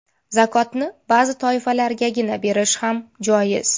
Zakotni ba’zi toifalargagina berish ham joiz.